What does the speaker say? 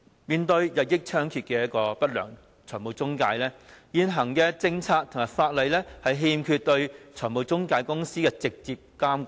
面對中介公司日益猖獗的不良行為，現行的政策和法例欠缺對中介公司的直接監管。